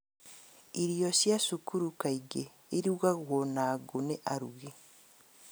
Irio cia cukuru kaingĩ irugagwo na ngũũ nĩ arugi